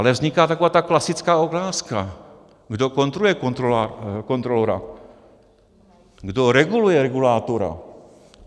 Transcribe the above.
Ale vzniká taková ta klasická otázka, kdo kontroluje kontrolora, kdo reguluje regulátora.